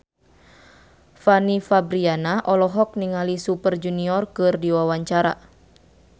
Fanny Fabriana olohok ningali Super Junior keur diwawancara